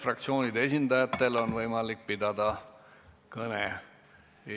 Fraktsioonide esindajatel on võimalik pidada kõne.